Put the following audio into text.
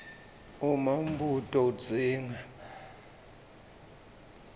uma umbuto udzinga